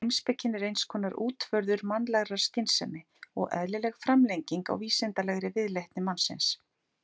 Heimspekin er eins konar útvörður mannlegrar skynsemi og eðlileg framlenging á vísindalegri viðleitni mannsins.